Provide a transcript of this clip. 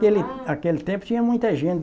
Naquele aquele tempo, tinha muita gente.